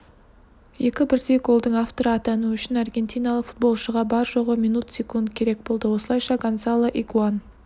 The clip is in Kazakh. екі бірдей голдың авторы атану үшін аргентиналық футболшыға бар-жоғы минут секунд керек болды осылайша гонсало игуаин